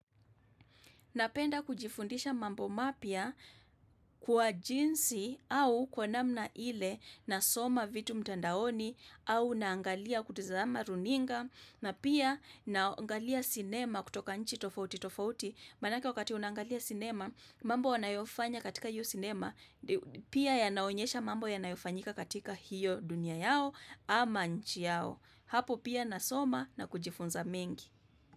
Napenda kujifundisha mambo mapya kwa jinsi au kwa namna ile na soma vitu mtandaoni au naangalia kutizama runinga na pia naangalia cinema kutoka nchi tofauti tofauti. Maanaka wakati unangalia cinema mambo wanayofanya katika hiyo cinema pia yanaonyesha mambo yanayofanyika katika hiyo dunia yao ama nchi yao. Hapo pia nasoma na kujifunza mengi.